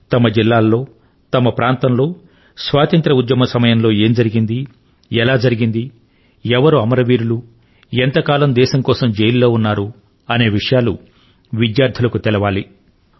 తమ జిల్లా లో తమ ప్రాంతం లో స్వాతంత్య్ర ఉద్యమ సమయం లో ఏం జరిగింది ఎలా జరిగింది ఎవరు అమరవీరుడు ఎంతకాలం దేశం కోసం జైలు లో ఉన్నారు అనే విషయాలు విద్యార్థులకు తెలియాలి